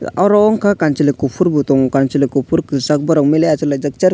oro unka kanchli kufur o tongo kanchwli kufur kwchak borok mili achuk laijak chair--